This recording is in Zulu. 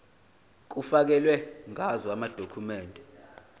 kufakelwe ngazo amadokhumende